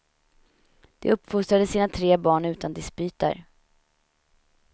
De uppfostrade sina tre barn utan dispyter.